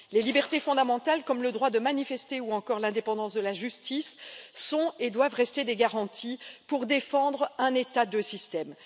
Les libertés fondamentales, comme le droit de manifester ou encore l'indépendance de la justice, sont et doivent rester des garanties pour défendre un État, deux systèmes.